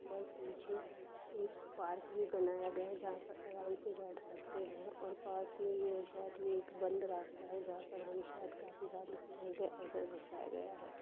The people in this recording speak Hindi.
और पीछे एक पार्क भी बनाया गया है जहां आराम से बैठ सकते हैं और पास में ये शायद ये एक बंद रास्ता है जहां पर हम शायद काफी सालों से नहीं गए ऐसा दर्शाया गया है।